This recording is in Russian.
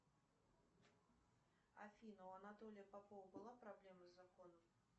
афина у анатолия попова была проблема с законом